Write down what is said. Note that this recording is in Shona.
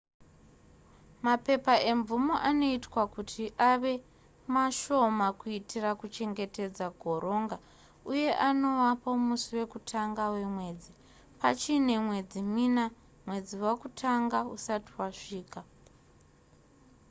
mapepa emvumo anoitwa kuti ave maashoma kuitira kuchengetedza goronga uye anowapo musi wekutanga wemwedzi pachiine mwedzi mina mwedzi wakutanga usati wasvika